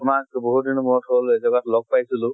তোমাক বহুত দিনৰ মুৰত হল এজেগাত লগ পাইছিলো।